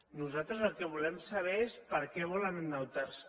nosaltres el que volem saber és per què volen endeutar se